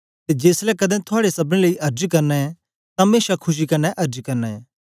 ते जेसलै कदें थुआड़े सबनी लेई अर्ज करना ऐ तां मेशा खुशी कन्ने अर्ज करना ऐ